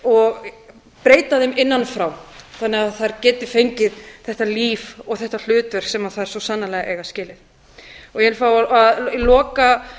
og breyta þeim innan frá þannig að þær geti fengið þetta líf og þetta hlutverk sem þær svo sannarlega eiga skilið ég vil fá að loka